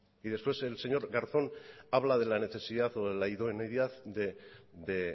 y después el señor garzón habla de la necesidad o de la idoneidad de